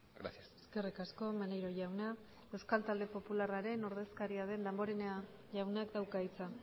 gracias eskerrik asko maneiro jauna euskal talde popularraren ordezkaria den damborenea jaunak dauka hitza